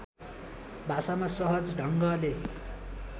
भाषामा सहज ढङ्गले